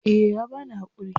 Eh ya bani hakuri.